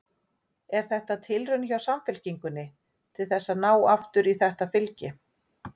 Er þetta tilraun hjá Samfylkingunni til þess að ná aftur í þetta fylgi?